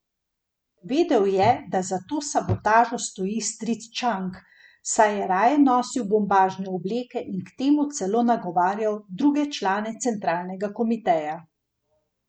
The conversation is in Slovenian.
Prihodnji ameriški veleposlanik na Hrvaškem je tudi zvesti donator ameriških republikancev.